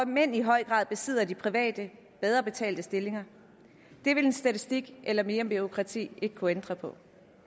mænd i høj grad besidder de private og bedre betalte stillinger det vil en statistik eller mere bureaukrati ikke kunne ændre på